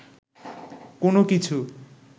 কোন কিছু